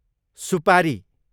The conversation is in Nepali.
सुपारी